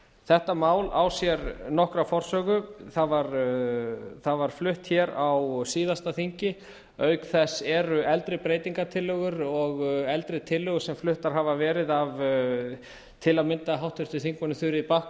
þetta mál á sér nokkra forsögu það var flutt hér á síðasta þingi auk þess eru eldri breytingartillögur og eldri tillögur sem fluttar hafa verið af til að mynda háttvirtum þingmönnum þuríði